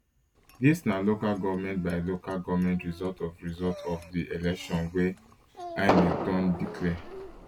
dis na local goment by local goment result of result of di election wey inec don declare